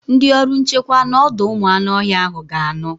Ndị ọrụ nchekwa n'ọdọụmụanụọhịa ahụ ga-anọ